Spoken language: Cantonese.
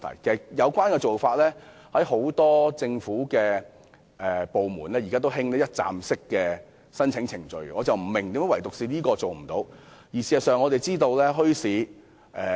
其實，政府現時多個部門都提供一站式申請程序，我不明白為何墟市相關申請卻做不到。